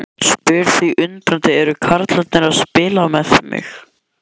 Spyr því undrandi: Eru karlarnir að spila með mig?